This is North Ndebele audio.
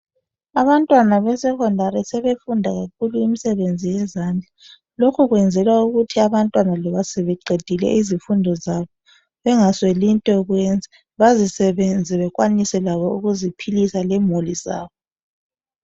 Abantwana beSekhondari sebefunda kakhulu imisebenzi yezandla,.Lokho kwenzelwa ukuthi loba abantwana sebeqedile izifundo zabo bengasweli into yokwenza. Bazisebenze labo bekwanise ukuziphilisa lemuli zabo.